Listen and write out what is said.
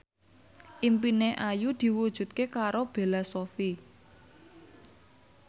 impine Ayu diwujudke karo Bella Shofie